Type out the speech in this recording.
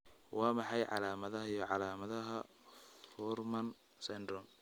Waa maxay calaamadaha iyo calaamadaha Fuhrmann syndrome?